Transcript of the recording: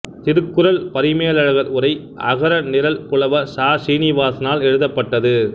திருக்குறள் பரிமேலழகர் உரை அகர நிரல் புலவர் ச சீனிவாசனால் எழுதப்பட்டது